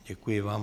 Děkuji vám.